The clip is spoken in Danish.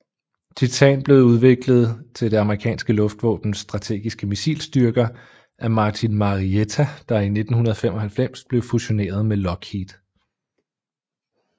Titan blev udviklet til det amerikanske luftvåbens strategiske missilstyrker af Martin Marietta der i 1995 blev fusioneret med Lockheed